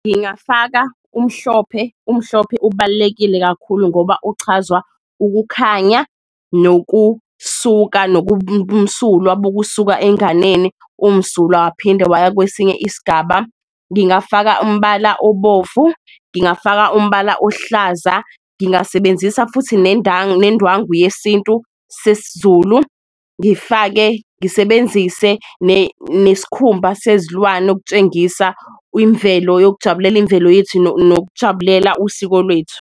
Ngingafaka umhlophe, umhlophe ubalulekile kakhulu ngoba uchazwa ukukhanya nokusuka nobumsulwa bokusuka enganeni umsulwa waphinde waya kwesinye isgaba, ngingafaka umbala obovu, ngingafaka umbala ohlaza, Ngingasebenzisa futhi nendwangu yesintu sesiZulu ngifake ngisebenzise neskhumba sezilwane okutshengisa imvelo yokujabulela imvelo yethu, nokujabulela usiko lwethu.